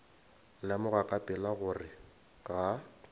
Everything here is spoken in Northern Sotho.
lemoga ka pela gore ga